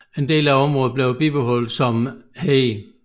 En del af området blev bibeholdt som hede